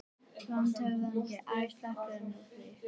LANDSHÖFÐINGI: Æ, sleppum nú því!